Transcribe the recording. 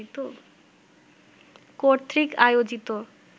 কর্তৃক আয়োজিত